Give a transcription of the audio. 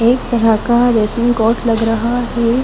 एक तरह का रेसिंग कोर्ड लग रहा है।